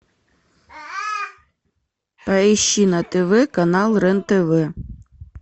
поищи на тв канал рен тв